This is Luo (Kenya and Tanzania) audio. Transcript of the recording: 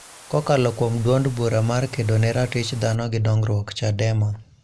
Kokalo kuom duond bura mar Kedo ne ratich dhano gi dongruok (Chadema)